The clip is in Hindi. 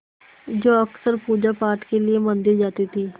जो अक्सर पूजापाठ के लिए मंदिर जाती थीं